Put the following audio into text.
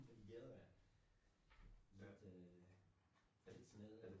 Fordi gaden er lidt øh lidt smadrede